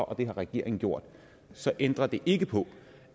og det har regeringen gjort så ændrer det ikke på